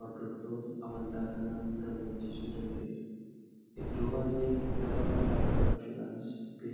hordoftoota amantaa sanaa gammachiisuu danda'eera. Iddoo baay'eetti lafa bal'aa qabachuudhaanis beekama.